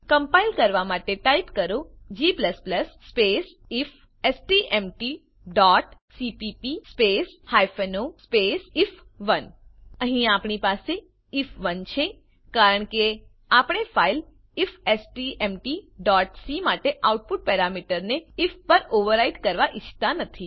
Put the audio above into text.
compile કરવા માટે type કરો g સ્પેસ ifstmtસીપીપી સ્પેસ o સ્પેસ આઇએફ1 અહીં આપણી પાસે આઇએફ1 છે કારણ કે આપણે ફાઈલ ifstmtસી માટે આઉટપુટ પેરામીટરને આઇએફ પર ઓવરરાઈટ કરવાં ઈચ્છતા નથી